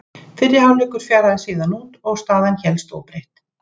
Fyrri hálfleikur fjaraði síðan út og staðan hélst óbreytt.